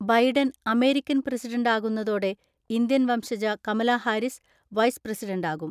Biden American പ്രസിഡന്റാകുന്നതോടെ Indian വംശജ Kamala Harris vice പ്രസിഡന്റാകും.